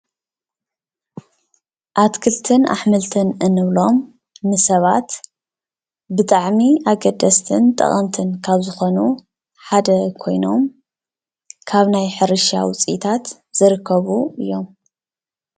አትክልትን አሕምልትን ነብሎም ንሰባት ብጣዕሚ ኣገደስትን ጠቀምትን ካብ ዝኮኑ ሓደ ኮይኑ ካብ ናይ ሕርሻ ዉፅኢታት ዝርከቡ እዮም ።